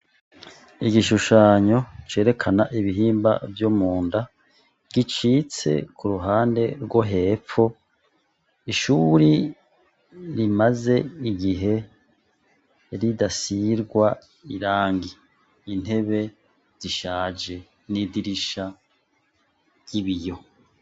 Igishushanyo cerekana ibihimba vyo mu nda, gicitse ku ruhande rwo hepfo. Ishuri rimaze igihe ridasigwa irangi, intebe zishaje n'idirisha ry'ibiyo.